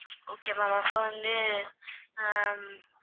okay ma'am அப்ப வந்து ஹம்